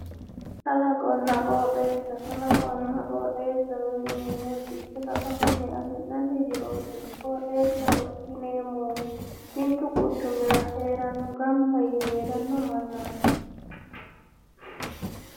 Kaalqonna qooxeessa kaalqonna qooxeessa yineemmori kalaqunni afi'nanni jirooti. qooxeessaho yineemmohu mittu quchumira heeranno gamba yee heeranno mannaati